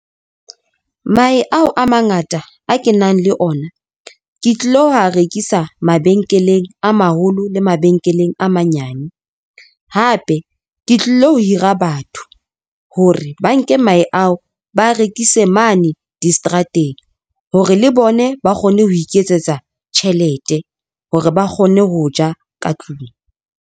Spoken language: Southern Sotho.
Mahe ao a mangata a ke nang le ona ke tlilo ho a rekisa mabenkeleng a maholo, le mabenkeleng a manyane. Hape ke tlilo hira batho, hore ba nke mahe ao, ba rekise mane diseterateng, hore le bone ba kgone ho iketsetsa tjhelete hore ba kgone ho ja ka tlung.